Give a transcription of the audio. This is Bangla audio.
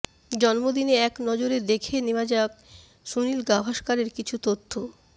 জন্মদিনে এক নজরে দেখে নেওয়া যাক সুনীল গাভাসকরের কিছু তথ্য